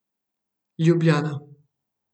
Ljubljana.